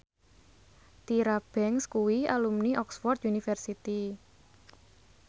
Tyra Banks kuwi alumni Oxford university